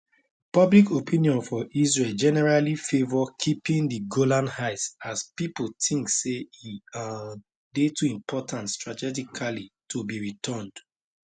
public opinion for israel generally favour keeping di golan heights as pipo think say e um dey too important strategically to be returned